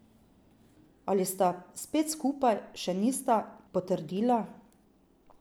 Ali sta spet skupaj, še nista potrdila.